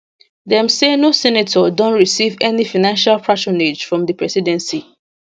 dem say no senator don receive any financial patronage from di presidency